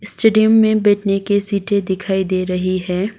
Stadium में बैठने के सीटे दिखाई दे रही है।